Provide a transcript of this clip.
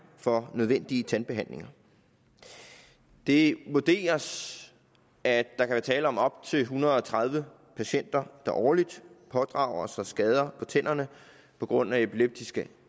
for nødvendige tandbehandlinger det vurderes at der kan være tale om op til en hundrede og tredive patienter der årligt pådrager sig skader på tænderne på grund af epileptiske